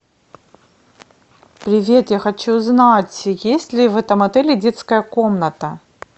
привет я хочу знать есть ли в этом отеле детская комната